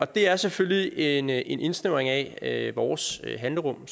det er selvfølgelig en indsnævring af vores handlerum